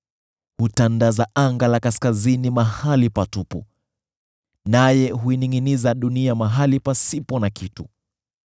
Hutandaza anga la kaskazini mahali patupu; naye huiningʼiniza dunia mahali pasipo na kitu.